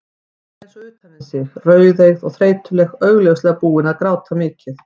Hún var eins og utan við sig, rauðeygð og þreytuleg, augljóslega búin að gráta mikið.